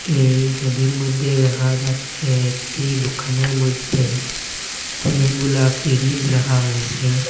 এই সবির মইদ্যে দেহা যাচ্ছে একটি দুকানের মইদ্যে অনেকগুলা ফ্রিজ রাখা হয়েসে।